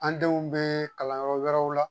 An denw bee kalanyɔrɔ wɛrɛw la.